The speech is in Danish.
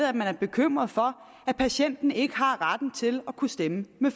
at man er bekymret for at patienten ikke har retten til at kunne stemme med